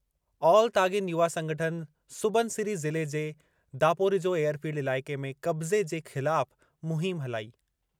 All Tagin युवा संगठन सुबनसिरी ज़िले जे दापोरिजो एयरफ़ील्ड इलाइक़े में क़ब्ज़े जे ख़िलाफ़ मुहिम हलाई।